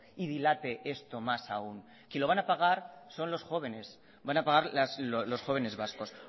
y dilate esto más aún quien lo van a pagar son los jóvenes van a pagar los jóvenes vascos